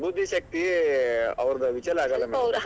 ಬುದ್ಧಿಶಕ್ತಿ ಅವದ್ರು ವಿಚಲ ಆಗಲ್ಲ madam .